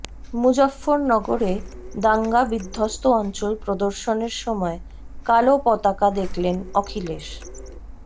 মুজফফর নগরে দাঙ্গা বিধ্বস্ত অঞ্চল প্রদর্শনের সময় কালো পতাকা দেখলেন অখিলেশ